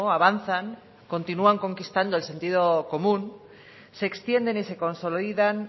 avanzan continúan conquistando el sentido común se extienden y se consolidan